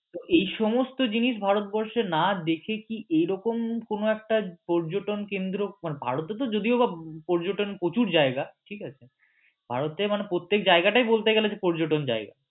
এইসমস্ত জিনিস ভারতবর্ষে না দেখে কি এরকম কোন একটা পর্যটন কেন্দ্র ভারতে তো যদিওবা পর্যটন প্রচুর জায়গা ঠিক আছে ভারতে প্রত্যেক জায়গাটাই বলতে গেলে যে পর্যটন জায়গা